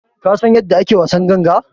Ka San yanda ake wasan ganga?